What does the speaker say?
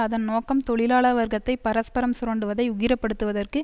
அதன் நோக்கம் தொழிலாள வர்க்கத்தை பரஸ்பரம் சுரண்டுவதை உக்கிரப்படுத்துவதற்கு